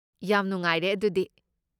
ꯌꯥꯝ ꯅꯨꯡꯉꯥꯏꯔꯦ ꯑꯗꯨꯗꯤ꯫